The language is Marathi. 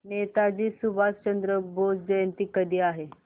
नेताजी सुभाषचंद्र बोस जयंती कधी आहे